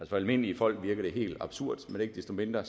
for almindelige folk virker det helt absurd men ikke desto mindre